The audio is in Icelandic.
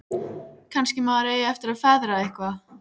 Kannski maður eigi eftir að feðra eitthvað.